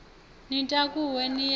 ni takuwe ni ye nayo